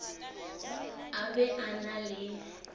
a be a na le